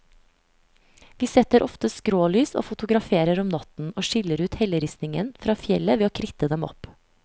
Vi setter ofte skrålys og fotograferer om natten, og skiller ut helleristningen fra fjellet ved å kritte dem opp.